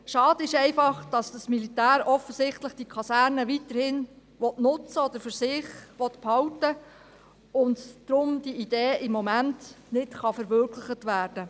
Schade ist einfach, dass das Militär die Kaserne offensichtlich weiterhin nutzen oder für sich behalten will, und darum kann diese Idee im Moment nicht verwirklicht werden.